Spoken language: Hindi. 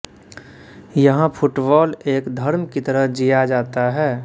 यहां फुटबॉल एक धर्म की तरह जिया जाता है